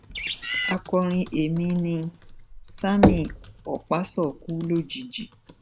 akọrin èmi nni sammie okpaso kú lójijì